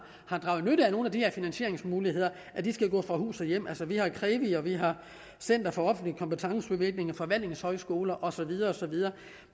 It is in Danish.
draget nytte af nogle af de her finansieringsmuligheder skal gå fra hus og hjem vi har krevi vi har center for offentlig kompetenceudvikling og forvaltningshøjskoler og så videre og så videre